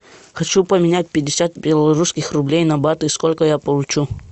хочу поменять пятьдесят белорусских рублей на баты сколько я получу